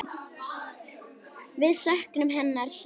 Við söknum hennar sárt.